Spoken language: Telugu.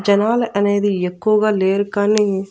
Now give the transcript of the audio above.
జనాల అనేది ఎక్కువగా లేరు కానీ.